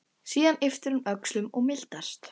Síðan ypptir hún öxlum og mildast.